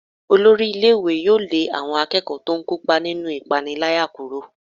Olórí ilé-ìwé yóò lé àwọn akẹ́kọ̀ọ́ tó ń kópa nínú ìpániláyà kúrò.